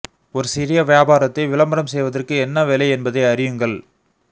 ஒரு சிறிய வியாபாரத்தை விளம்பரம் செய்வதற்கு என்ன வேலை என்பதை அறியுங்கள்